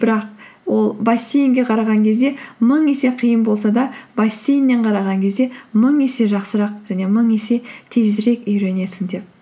бірақ ол бассейнге қараған кезде мың есе қиын болса да бассейннен қараған кезде мың есе жақсырақ және мың есе тезірек үйренесің деп